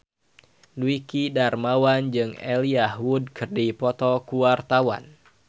Dwiki Darmawan jeung Elijah Wood keur dipoto ku wartawan